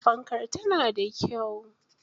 Fankar tana da kyau.